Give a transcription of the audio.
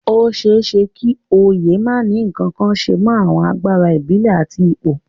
Ó ṣeé ṣe kí oyè má ní ǹkankan ṣe mọ àwọn agbára ìbílẹ̀ àti ipò